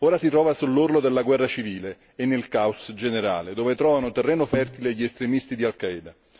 Ora si trova sull'orlo della guerra civile e nel caos generale, dove trovano terreno fertile gli estremisti di Al Qaeda.